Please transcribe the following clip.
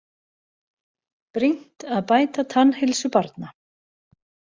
Brýnt að bæta tannheilsu barna